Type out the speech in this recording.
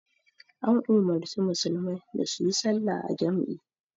An umarci musulmai da su yi sallah a jam'i